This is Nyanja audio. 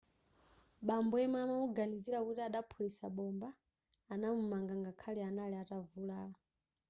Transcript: bambo yemwe amamuganizira kuti adaphulitsa bomba anamumanga ngakhale anali atavulala